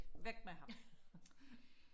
væk med ham